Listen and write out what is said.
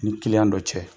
Ni kiliyan dɔ cɛ